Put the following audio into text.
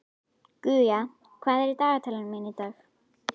Guja, hvað er í dagatalinu mínu í dag?